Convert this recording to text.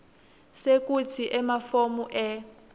sekutsi emafomu e